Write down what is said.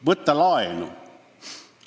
Võtta laenu.